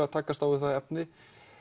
að takast á við það efni